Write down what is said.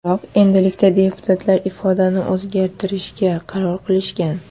Biroq endilikda deputatlar ifodani o‘zgartirishga qaror qilishgan.